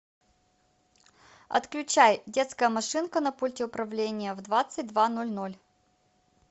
отключай детская машинка на пульте управления в двадцать два ноль ноль